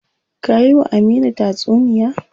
Ka yi wa Aminu tatsuniya.